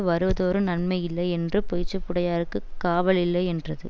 வருவதொரு நன்மை இல்லை என்று பொய்ச்சாப்புடையார்க்குக் காவலில்லை என்றது